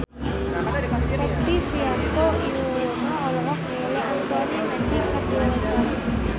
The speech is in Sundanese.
Rektivianto Yoewono olohok ningali Anthony Mackie keur diwawancara